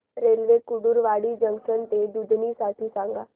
railway Kurduwadi junction ते दुधनी साठी सांगा